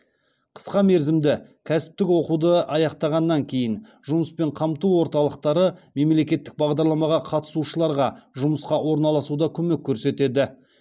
қысқа мерзімді кәсіптік оқуды аяқтағаннан кейін жұмыспен қамту орталықтары мемлекеттік бағдарламаға қатысушыларға жұмысқа орналасуда көмек көрсетеді